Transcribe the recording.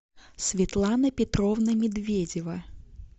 светлана петровна медведева